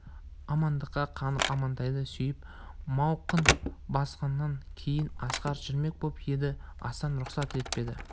амандыққа қанып амантайды сүйіп мауқын басқаннан кейін асқар жүрмек боп еді асан рұқсат етпеді